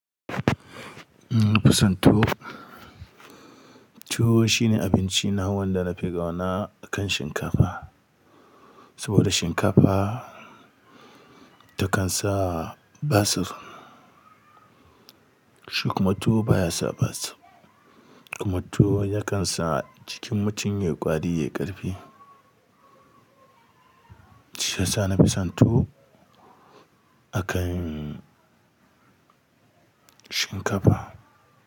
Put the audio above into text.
Ina fusanto tuwo shine abinci na wanda na fi kauna akan shinkafa, saboda shinkafa takan sa basir. Shikuma tuwo baya sa basir, kuma tuwo ya kan sa jikin mutum ya yi ƙwari, ya ƙarfe. Shi yasa na fi san tuwo akan shinkafa.